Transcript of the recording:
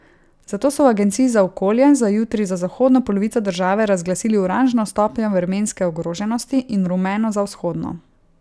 Zato so v agenciji za okolje za jutri za zahodno polovico države razglasili oranžno stopnjo vremenske ogroženosti in rumeno za vzhodno.